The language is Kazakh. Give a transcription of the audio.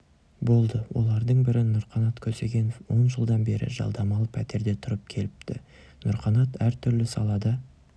болды олардың бірі нұрқанат көксегенов он жылдан бері жалдамалы пәтерде тұрып келіпті нұрқанат әртүрлі салада